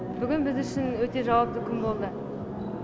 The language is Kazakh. бүгін біз үшін өте жауапты күн болды